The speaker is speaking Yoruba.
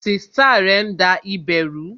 Sista rẹ ń da ibè ru